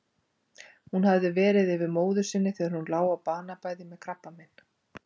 Hún hafði verið yfir móður sinni þegar hún lá á banabeði með krabbamein.